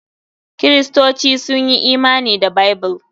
Kiristoci sun yi imani da Bible.